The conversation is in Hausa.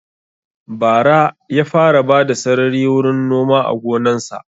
Bara ya fara bada sarari wurin noma a gonan sa